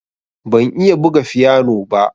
Ban iya buga fiyano ba.